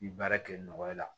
I baara kɛ nɔgɔ la